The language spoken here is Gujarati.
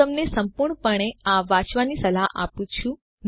હું તમને સંપૂર્ણપણે આ વાંચવાની સલાહ આપું છું